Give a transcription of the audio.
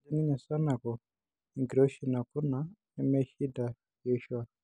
Etejo ninye Sanaku enkiroishi nakuna meishinida Yoshua